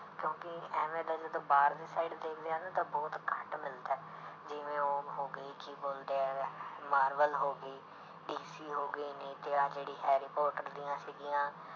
ਕਿਉਂਕਿ ਇਵੇਂ ਦਾ ਜਦੋਂ ਬਾਹਰਲੀ side ਦੇਖਦੇ ਹਾਂ ਨਾ ਤਾਂ ਬਹੁਤ ਘੱਟ ਮਿਲਦਾ ਹੈ ਜਿਵੇਂ ਉਹ ਹੋ ਗਈ ਕੀ ਬੋਲਦੇ ਹੈ ਮਾਰਵਲ ਹੋ ਗਈ ਡੀਸੀ ਹੋ ਗਈ, ਨਹੀਂ ਤਾਂ ਆਹ ਜਿਹੜੀ ਹੈਰੀਪੋਟਰ ਦੀਆਂ ਸੀਗੀਆਂ